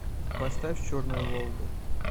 поставь черная волга